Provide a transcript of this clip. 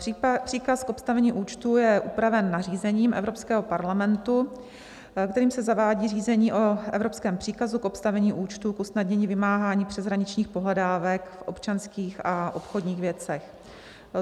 Příkaz k obstavení účtu je upraven nařízením Evropského parlamentu, kterým se zavádí řízení o evropském příkazu k obstavení účtu k usnadnění vymáhání přeshraničních pohledávek v občanských a obchodních věcech.